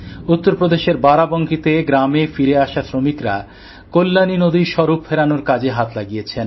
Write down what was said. উত্তরপ্রদেশের বারাবাঁকি গ্রামে ফিরে আটজন শ্রমিক কল্যাণী নদীর স্বরূপ ফেরানোর কাজে হাত লাগিয়েছেন